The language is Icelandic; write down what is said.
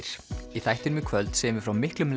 í þættinum í kvöld segjum við frá miklum